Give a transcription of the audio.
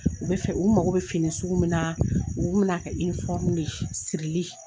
U bɛ fɛ u mago bɛ fini sugu min na u tun bɛn'a kɛ de ye, sirili